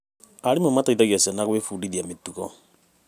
Arimũ marateithia ciana gwĩbundithia mĩtugo.